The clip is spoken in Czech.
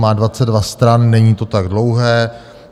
Má 22 stran, není to tak dlouhé.